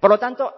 por lo tanto